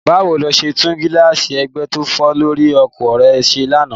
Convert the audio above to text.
Báwo lo ṣe tún gíláàsì ẹgbẹ́ tó fọ́ lórí ọkọ̀ rẹ ṣe lánàá?